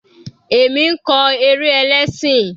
Èmi ń kọ eré ẹlẹ́ṣìn.